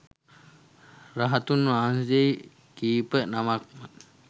රහතුන් වහන්සේ කීප නමක් ම